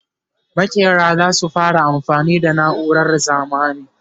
makera zasu fara amfani da nauran zamani